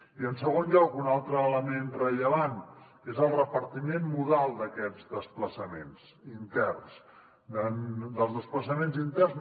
i en segon lloc un altre element rellevant és el repartiment modal d’aquests desplaçaments interns dels desplaçaments interns